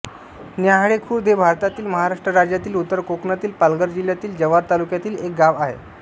न्याहाळेखुर्द हे भारतातील महाराष्ट्र राज्यातील उत्तर कोकणातील पालघर जिल्ह्यातील जव्हार तालुक्यातील एक गाव आहे